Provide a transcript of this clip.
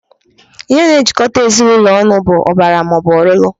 Ihe na-ejikọta ezinụlọ ọnụ bụ ọbara maọbụ ọlụlụ